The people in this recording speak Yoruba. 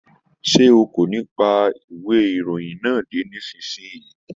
Sé o kò ní pa ìwé ìròyìn yẹn dé nísìnyí!